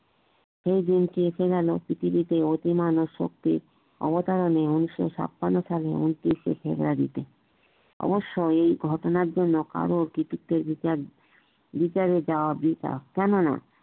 এই দিনটি এসে গেল পৃথিবীতে অতি মানব শক্তির অবতারনি উনিশ ছাপান্ন সালে উনত্রিশ এ ফেবুয়ারী তে অবশ্য এই ঘটনার জন্যে কারোর কৃতিত্বের ওপর বিচারে যাওয়া বৃথা কেননা